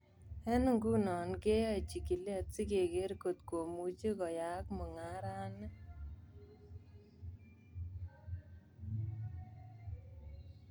Eng nguno kiyae chigilet sikeker kotko muchi koyayak mungaret ni.